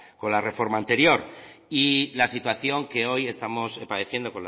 con la reforma anterior y la situación que hoy estamos padeciendo